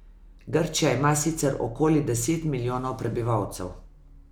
Grčija ima sicer okoli deset milijonov prebivalcev.